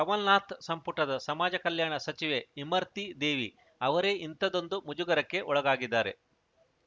ಕಮಲ್‌ನಾಥ್‌ ಸಂಪುಟದ ಸಮಾಜ ಕಲ್ಯಾಣ ಸಚಿವೆ ಇಮರ್ತಿ ದೇವಿ ಅವರೇ ಇಂಥದ್ದೊಂದು ಮುಜುಗರಕ್ಕೆ ಒಳಗಾಗಿದ್ದಾರೆ